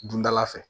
Dundala fɛ